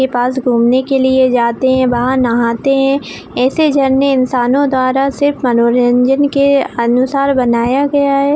उसके पास घूमने के लिए जाते है वहाँ नहाते है ऐसे झरने इंसाने द्वारा सिर्फ मनोरंजन के अनुसार बनाया गया है